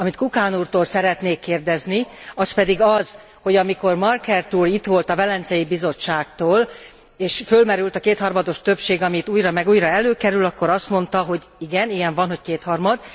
Amit Kukan úrtól szeretnék kérdezni az pedig az, hogy amikor Markert úr itt volt a Velencei Bizottságtól és fölmerült a kétharmados többség, ami itt újra meg újra előkerül, akkor azt mondta, hogy igen, ilyen van, hogy kétharmad.